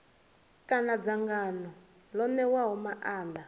kana dzangano ḽo ṋewaho maanḓa